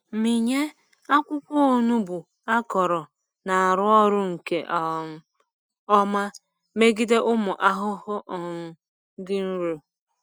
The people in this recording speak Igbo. Mmịnye akwụkwọ onugbu akọrọ na-arụ ọrụ nke um ọma megide ụmụ ahụhụ um dị nro.